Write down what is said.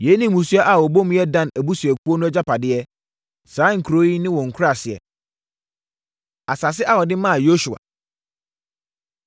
Yei ne mmusua a wɔbɔ mu yɛ Dan abusuakuo no agyapadeɛ, saa nkuro yi ne wɔn nkuraaseɛ. Asase A Wɔde Maa Yosua